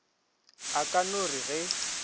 a ka no re ge